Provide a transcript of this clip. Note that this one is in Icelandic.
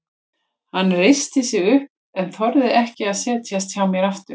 Hann reisti sig upp en þorði ekki að setjast hjá mér aftur.